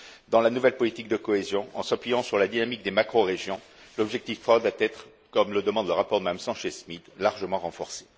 Dans la nouvelle politique de cohésion, en s'appuyant sur la dynamique des macrorégions, l'objectif 3 doit être comme le demande le rapport de Mme Sanchez Schmid largement renforcé.